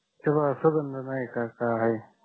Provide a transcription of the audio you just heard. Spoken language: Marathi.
त्याला सुंगध आहे का काय आहे